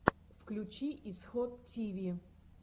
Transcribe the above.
включи исход тиви